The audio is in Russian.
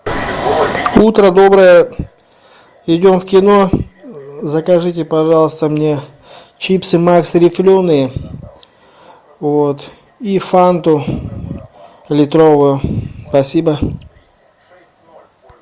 утро доброе идем в кино закажите пожалуйста мне чипсы макс рифленые и фанту литровую спасибо